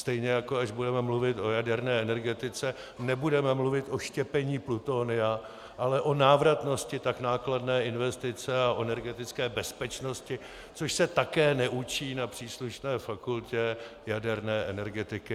Stejně jako až budeme mluvit o jaderné energetice, nebudeme mluvit o štěpení plutonia, ale o návratnosti tak nákladné investice a o energetické bezpečnosti, což se také neučí na příslušné fakultě jaderné energetiky.